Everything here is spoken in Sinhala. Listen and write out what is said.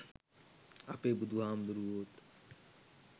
අපේ බුදුහාමුදුරුවෝත්